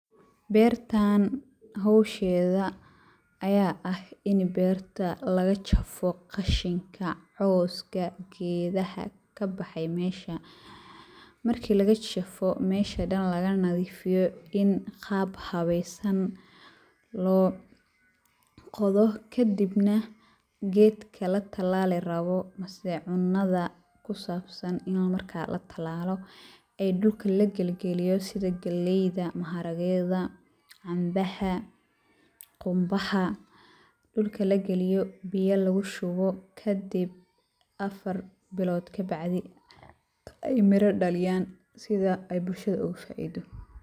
Beertaan howsheeda ayaa ah in beerta laga jafo khashinka, cowska, geedaha ka bahay meesha. Markii laga jafo meesha dhan laga nadiifiyo in qaab habaysan loo qodo kadibna geedka la tilaali rabo mise cunada ku saabsan in marka la talaalo ay dhulka la gelgeliyo sida gelayda, maharageeda, cambaha, qumbaha dhulka la geliyo ,biyo lugu shubo kadib afar bilood ka bacdi ay miro dhaliyaan sida ay bulshada ugu faaido.